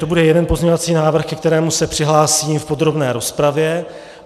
To bude jeden pozměňovací návrh, ke kterému se přihlásím v podrobné rozpravě.